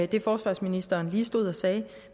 det forsvarsministeren lige stod og sagde